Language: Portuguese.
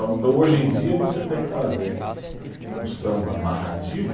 Então, hoje em dia, você tem que fazer o samba narrativo.